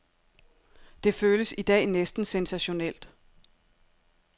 Det føles i dag næsten sensationelt.